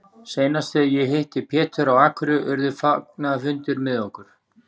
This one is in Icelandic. Seinast þegar ég hitti Pétur á Akureyri urðu fagnaðarfundir með okkur.